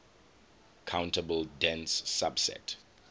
countable dense subset